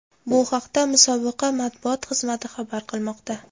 Bu haqda musobaqa matbuot xizmati xabar qilmoqda .